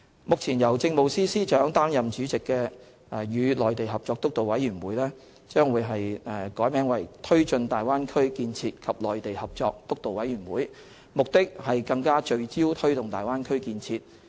目前由政務司司長擔任主席的"與內地合作督導委員會"將易名為"推進大灣區建設及內地合作督導委員會"，目的是更聚焦推動大灣區建設。